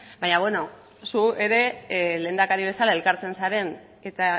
baina beno zu ere lehendakari bezala elkartzen zaren eta